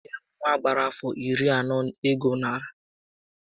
Enyere m nwa gbàrà afọ iri ọnụ ego narị Dọlas atọ na iri isé màkà na o kelere m